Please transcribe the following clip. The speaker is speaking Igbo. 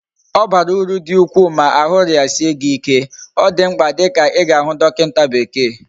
Obara uru di ukwu ma ahu riasie gi ike, odimkpa di ka iga hu dokinta bekee